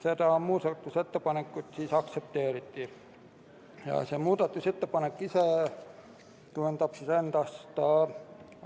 Seda ettepanekut aktsepteeriti, see tähendab